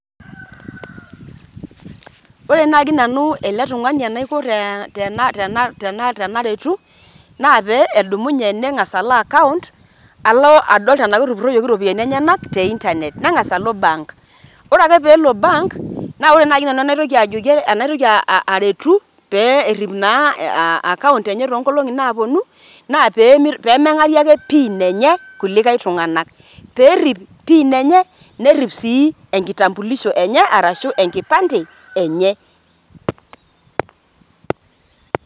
Ore naake nanu ele tung'ani enaiko tena tena tena tenaretu naa pee edumunye neng'asa alo akount alo adol tenake etupuroyieki iropiani enyenak te intanet. Neng'asa alo bank, ore ake peelo bank naa ore nai nanu enaitoki ajoki anaitoki aretu pee erip naa aa akount enye too nkolong'i naaponu naa pee meng'arie ake pin enye kulikai tung'anak pee erip pin enye, nerip sii enkitambulisho arashu enkipande enye.